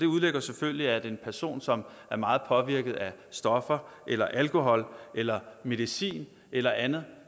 udelukker selvfølgelig at en person som er meget påvirket af stoffer eller alkohol eller medicin eller andet